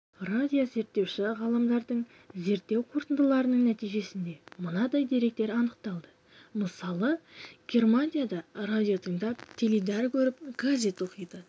радиозерттеуші ғалымдардың зерттеу қорытындыларының нәтижесінде мынандай деректер анықталды мысалы германияда радио тыңдап теледидар көріп газет оқиды